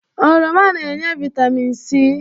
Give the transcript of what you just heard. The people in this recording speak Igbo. Oroma na-enye Vaitamịn si